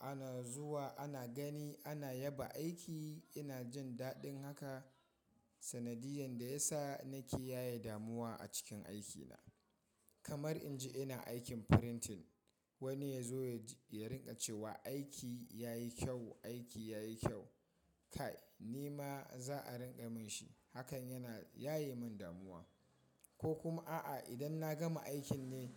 ana zuwa, ana gani, ana yaba aiki, ina jin daɗin haka. Sanadiyan da ya sa nake yaye damuwa a cikin aikina. Kamar in ji ina aikin frintin wani ya zo ya rinƙa cewa aiki ya yi kyau, aiki ya yi kyau. Kai nima za a rinƙa min shi. Hakan yana yaye min damuwa. Ko kuma a’a idan na gama aikin ne